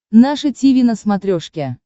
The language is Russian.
наше тиви на смотрешке